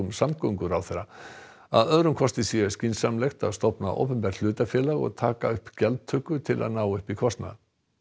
samgönguráðherra að öðrum kosti sé skynsamlegt að stofna opinbert hlutafélag og taka upp gjaldtöku til að ná upp í kostnað